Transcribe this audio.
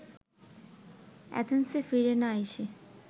অ্যাথেন্সে ফিরে না এসে